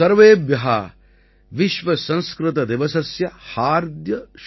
संस्कृतदिवसस्य हार्द्य शुभकामना